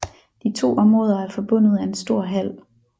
De to områder er forbundet af en stor hal